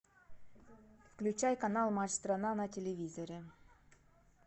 включай канал матч страна на телевизоре